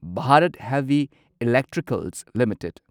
Bharat heavy electricals limited